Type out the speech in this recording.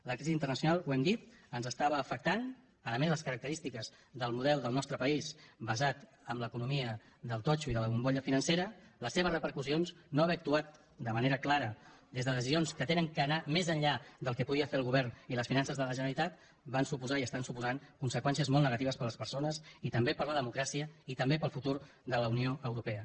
la crisi internacional ho hem dit ens estava afectant a més les característiques del model del nostre país basat en l’economia del totxo i de la bombolla financera les seves repercussions no haver actuat de manera clara des de decisions que han d’anar més enllà del que podia fer el govern i les finances de la generalitat van suposar i estan suposant conseqüències molt negatives per a les persones i també per a la democràcia i també per al futur de la unió europea